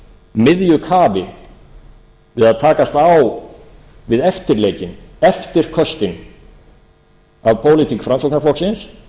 miðju kafi við að takast á við eftirleikinn eftirköstin af pólitík framsóknarflokksins